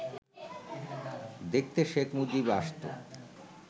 দেখতে শেখ মুজিব আসত